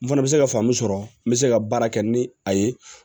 N fana bɛ se ka faamu sɔrɔ n bɛ se ka baara kɛ ni a ye